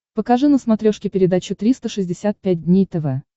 покажи на смотрешке передачу триста шестьдесят пять дней тв